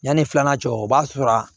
Yanni filanan cɛ o b'a sɔrɔ a